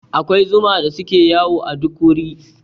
Akwai zuma da suke yawo a duk wuri.